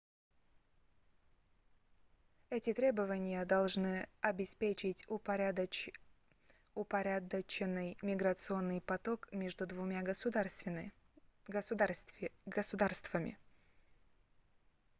эти требования должны обеспечить упорядоченный миграционный поток между двумя государствами